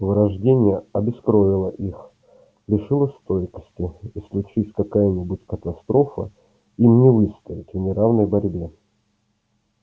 вырождение обескровило их лишило стойкости и случись какая-нибудь катастрофа им не выстоять в неравной борьбе